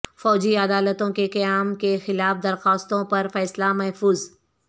فوجی عدالتوں کے قیام کے خلاف درخواستوں پر فیصلہ محفوظ